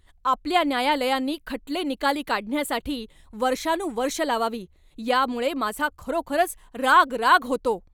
आपल्या न्यायालयांनी खटले निकाली काढण्यासाठी वर्षानुवर्षं लावावी, यामुळे माझा खरोखरच राग राग होतो.